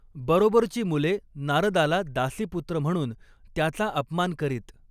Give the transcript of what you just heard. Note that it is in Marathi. बरोबरची मुले नारदाला 'दासीपुत्र' म्हणून त्याचा अपमान करीत.